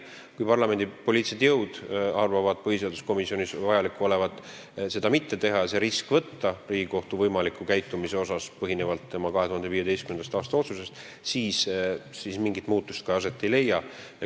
Kui parlamendi poliitilised jõud arvavad põhiseaduskomisjonis vajaliku olevat seda mitte teha ja riskida Riigikohtu võimaliku käitumisega, mis põhineks tema 2015. aasta otsusel, siis mingi muutus aset ei leia.